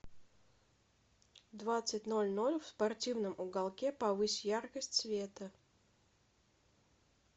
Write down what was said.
в двадцать ноль ноль в спортивном уголке повысь яркость света